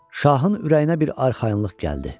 Şahın ürəyinə bir arxayınlıq gəldi.